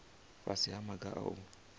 fhasi ha maga a u